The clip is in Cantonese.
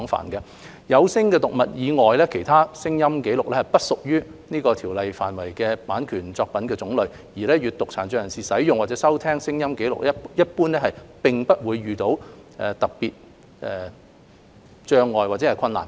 除了有聲讀物外，其他聲音紀錄均不屬於《馬拉喀什條約》規範的版權作品種類，而閱讀殘障人士使用或收聽聲音紀錄一般並不會遇到特別障礙或困難。